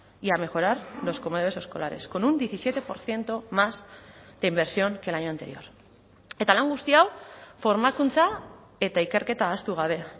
y a mejorar los comedores escolares con un diecisiete por ciento más de inversión que el año anterior eta lan guzti hau formakuntza eta ikerketa ahaztu gabe